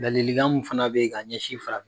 Ladilikan mun fana be yen ka ɲɛsin fara